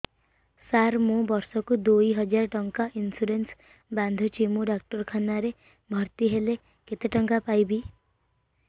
ସାର ମୁ ବର୍ଷ କୁ ଦୁଇ ହଜାର ଟଙ୍କା ଇନ୍ସୁରେନ୍ସ ବାନ୍ଧୁଛି ମୁ ଡାକ୍ତରଖାନା ରେ ଭର୍ତ୍ତିହେଲେ କେତେଟଙ୍କା ପାଇବି